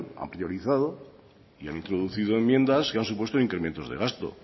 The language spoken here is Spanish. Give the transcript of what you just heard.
han priorizado y han introducido enmiendas que han supuesto incrementos de gasto